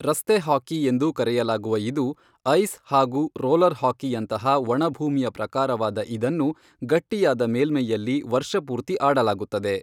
ರಸ್ತೆ ಹಾಕಿ ಎಂದೂ ಕರೆಯಲಾಗುವ ಇದು, ಐಸ್ ಹಾಗೂ ರೋಲರ್ ಹಾಕಿಯಂತಹ ಒಣ ಭೂಮಿಯ ಪ್ರಕಾರವಾದ ಇದನ್ನು ಗಟ್ಟಿಯಾದ ಮೇಲ್ಮೈಯಲ್ಲಿ ವರ್ಷಪೂರ್ತಿ ಆಡಲಾಗುತ್ತದೆ.